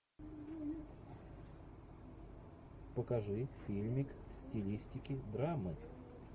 покажи фильмик в стилистике драмы